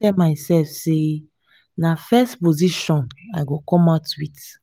i don tell myself say na first position i go come out with